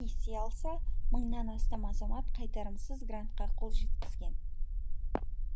несие алса мыңнан астам азамат қайтарымсыз грантқа қол жеткізген